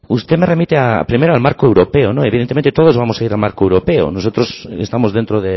usted nos remite primero al marco europeo no evidentemente todos vamos a un marco europeo nosotros estamos dentro